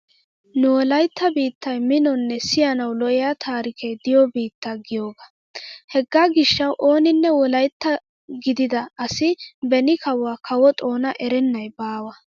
Nu wolaytta biittay minonne siyanawu lo'iya taarikee diyo biitta giyogaa. Hegaa gishshawu ooninne wolaytta gidida asi beni kawuwa kawo xoona erennay baawa.